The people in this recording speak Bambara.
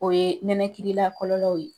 O ye nɛnɛkilila kɔlɔlɔw ye.